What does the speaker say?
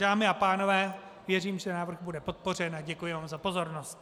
Dámy a pánové, věřím, že návrh bude podpořen, a děkuji vám za pozornost.